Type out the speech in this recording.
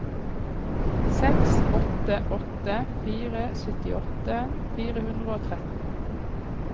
seks åtte åtte fire syttiåtte fire hundre og tretten